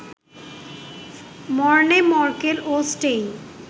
Morne Morkel ও Steyn